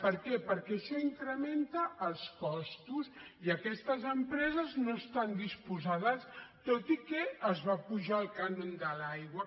per què perquè això incrementa els costos i aquestes empreses no hi estan disposades tot i que es va apujar el cànon de l’aigua